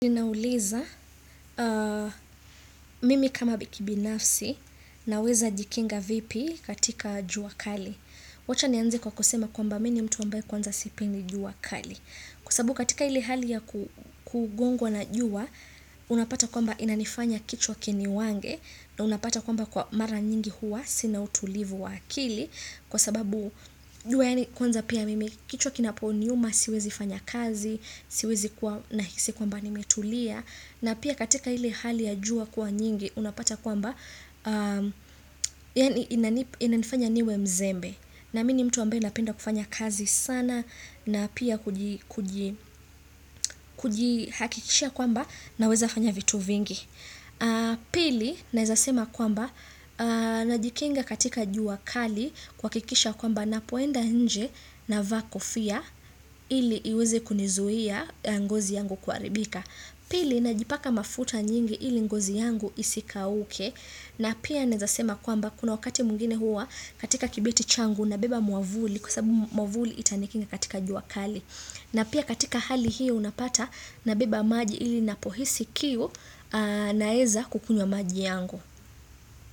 Nina uliza mimi kama bikibinafsi na weza jikinga vipi katika jua kali. Wacha ni anze kwa kusema kwamba mimi mtu mbae kwanza sipendi jua kali. Kwa sababu katika ile hali ya kugongwa na jua, unapata kwamba inanifanya kichwa kini wange na unapata kwamba kwa mara nyingi huwa, sina utulivu wa akili. Kwa sababu, juwa yani kwanza pia mimi kichwa kinaponi yuma, siwezi fanya kazi, siwezi kuwa nahisi kwamba nimetulia na pia katika ili hali ya jua kwa nyingi unapata kwamba yani inanifanya niwe mzembe na mini mtu ambe napenda kufanya kazi sana na pia kuji kujihakikisha kwamba na weza fanya vitu vingi pili naezasema kwamba na jikenga katika jua kali kwa kikisha kwamba na poenda nje na vaakofia ili iweze kunizuia ngozi yangu kwaribika Pili na jipaka mafuta nyingi ili ngozi yangu isika uke na pia nezasema kwamba kuna wakati mungine hua katika kibeti changu na beba muavuli kusabu muavuli itanikinga katika juakali na pia katika hali hiyo unapata na beba maji ili napohisi kiu naeza kukunywa maji yangu.